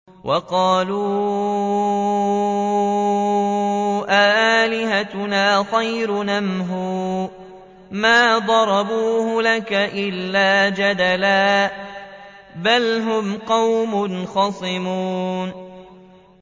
وَقَالُوا أَآلِهَتُنَا خَيْرٌ أَمْ هُوَ ۚ مَا ضَرَبُوهُ لَكَ إِلَّا جَدَلًا ۚ بَلْ هُمْ قَوْمٌ خَصِمُونَ